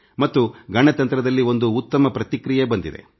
ಮತ್ತು ಗಣತಂತ್ರದಲ್ಲಿ ಒಂದು ಉತ್ತಮ ಪ್ರತಿಕ್ರಿಯೆ ಬಂದಿದೆ